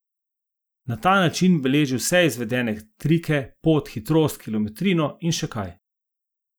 Na ta način beleži vse izvedene trike, pot, hitrost, kilometrino in še kaj.